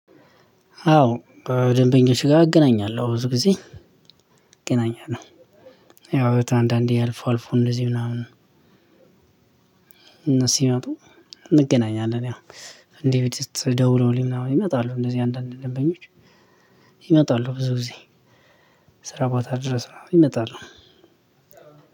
አዎ ደንበኛዎች ጋ እገናኛለሁ ብዙ ጊዜ እገናኛለሁ። ያው አንዳንዴ አልፉ አልፉ እንደዚህ ምናምን እነሱ ሲመጡ እንገናኛለን። ያው ብድስት ደውለውልኝ ምናምን ይመጣሉ። እንደዚህ አንዳንድ ነበኞች ይመጣሉ። ብዙ ጊዜ ስራ ቦታ ድረስ ምናምን ይመጣሉ።